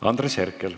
Andres Herkel.